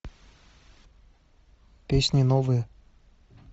песни новые